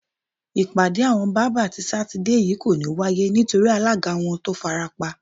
Ìpàdé àwo̩n bábà ti Sátidé yìí kò ní wáyé nítorí alága wo̩n tó farapa